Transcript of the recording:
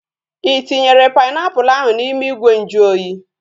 Ị tinyere painiapulu ahu n'ime ìgwè nju oyi?